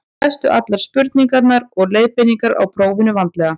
lestu allar spurningar og leiðbeiningar í prófinu vandlega